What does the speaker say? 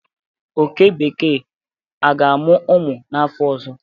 oke bekee a ga amu umu n'afo ozo?